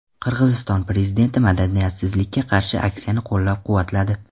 Qirg‘iziston prezidenti madaniyatsizlikka qarshi aksiyani qo‘llab-quvvatladi.